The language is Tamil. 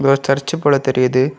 ஒரு சர்ச் போல தெரிது.